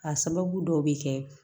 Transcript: A sababu dɔw be kɛ